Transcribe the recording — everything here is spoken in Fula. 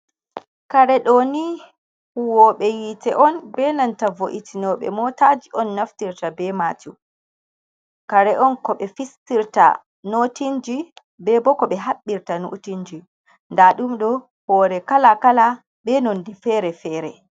Kaare ɗo ni huwoɓe yiite on benanta vo’itinoɓe motaji on naftirta be majum, kare on ko ɓe fistirta notinji be bo ko ɓe haɓɓirta notinji, nda ɗum ɗo hoore kala kala be nondi fere-fere.